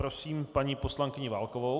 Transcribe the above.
Prosím paní poslankyni Válkovou.